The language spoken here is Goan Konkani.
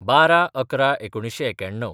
१२/११/१९९१